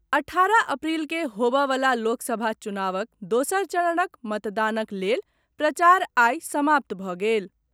अठारह अप्रील के होबए वला लोकसभा चुनावक दोसर चरणक मतदानक लेल प्रचार आइ समाप्त भऽ गेल।